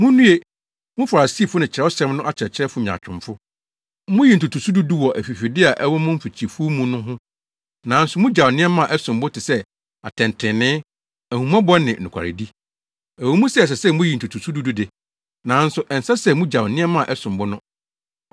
“Munnue! Mo Farisifo ne Kyerɛwsɛm no akyerɛkyerɛfo nyaatwomfo! Muyi ntotoso du du wɔ afifide a ɛwɔ mo mfikyifuw mu no ho, nanso mugyaw nneɛma a ɛsom bo te sɛ atɛntrenee, ahummɔbɔ ne nokwaredi. Ɛwɔ mu sɛ ɛsɛ sɛ muyiyi ntotoso du du no de, nanso ɛnsɛ sɛ mugyaw nneɛma a ɛsom bo no.